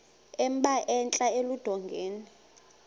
emba entla eludongeni